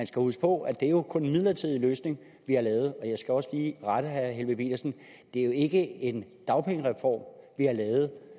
skal huske på at det jo kun er en midlertidig løsning vi har lavet jeg skal også lige rette herre helveg petersen det er ikke en dagpengereform vi har lavet